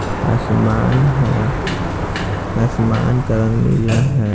आसमान है आसमान का रंग नीला है।